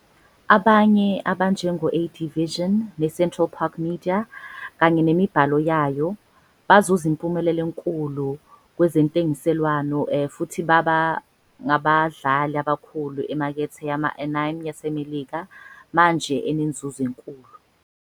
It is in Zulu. Abanye, abanjengo- AD Vision, neCentral Park Media kanye nemibhalo yayo, bazuze impumelelo enkulu kwezentengiselwano futhi baba ngabadlali abakhulu emakethe yama-anime yaseMelika manje enenzuzo enkulu.